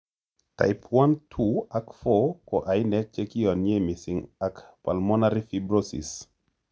Type 1, 2 ak 4 ko ainek chekiyon'ye mising ak pulmonary fibrosis